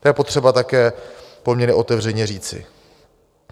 To je potřeba také poměrně otevřeně říci.